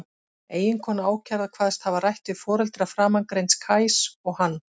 Eiginkona ákærða kvaðst hafa rætt við foreldra framangreinds Kajs og hann.